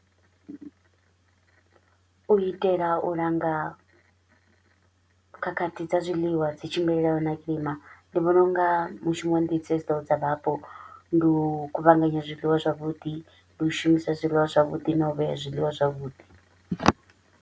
U itela u langa khakhathi dza zwiḽiwa dzi tshimbilelanaho na kilima, ndi vhona u nga mushumo ndi dzedzo dza vhapo, ndi u kuvhanganya zwiḽiwa zwavhuḓi, ndi u shumisa zwiḽiwa zwavhuḓi na u vhea zwiḽiwa zwavhuḓi.